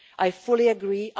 I fully agree